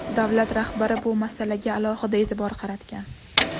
Davlat rahbari bu masalaga alohida e’tibor qaratgan.